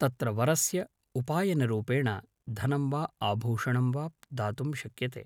तत्र वरस्य उपायनरूपेण धनं वा आभूषणं वा दातुं शक्यते